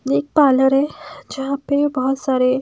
एक पार्लर है जहाँ पे बहुत सारे--